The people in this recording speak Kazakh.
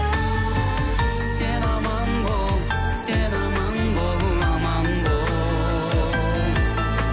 сен аман бол сен аман бол аман бол